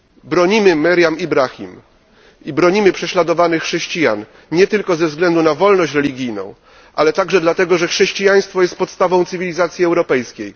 Bronimy Meriam Ibrahim i bronimy prześladowanych chrześcijan nie tylko ze względu na wolność religijną, ale także dlatego, że chrześcijaństwo jest podstawą cywilizacji europejskiej.